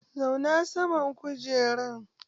Zauna saman kujerar!